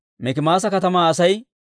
Hariima katamaa Asay 320.